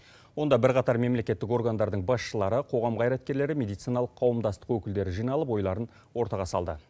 онда бірқатар мемлекеттік органдардың басшылары қоғам қайраткерлері медициналық қауымдастық өкілдері жиналып ойларын ортаға салды